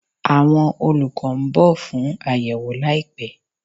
Awọn olukọ n bọ fun ayewo laipẹ